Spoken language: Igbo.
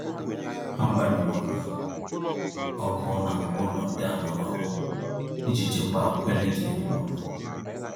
Ha gbanyụrụ ọkụ na ngwa ụlọ ndị anọghị ọrụ iji chekwaa ọkụ eletrik n'ụlọ.